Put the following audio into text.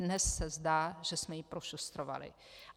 Dnes se zdá, že jsme ji prošustrovali.